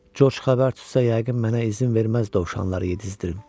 George xəbər tutsa yəqin mənə izin verməz dovşanları yedizdirim.